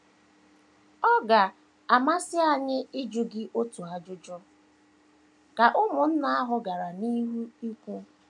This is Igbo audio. “ Ọ ga - amasị anyị ịjụ gị otu ajụjụ, ” ka ụmụnna ahụ gara n’ihu ikwu.